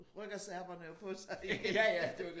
Rykker serberne jo på sig igen